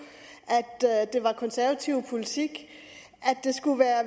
at det var konservativ politik at det skulle være